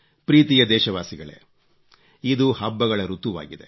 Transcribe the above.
ಪ್ರೀತಿಯ ದೇಶವಾಸಿಗಳೇ ಇದು ಹಬ್ಬಗಳ ಋತುವಾಗಿದೆ